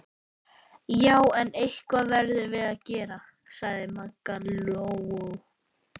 Já, en eitthvað verðum við að gera, sagði Maggi Lóu.